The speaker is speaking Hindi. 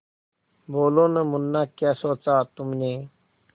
बोलो न मुन्ना क्या सोचा तुमने